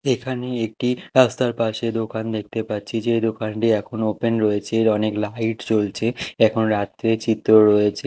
এখানে একটি রাস্তার পাশে দোকান দেখতে পাচ্চি যে দোকানটি এখন ওপেন রয়েচে অনেক লাইট জ্বলচে এখন রাত্রের চিত্র রয়েচে।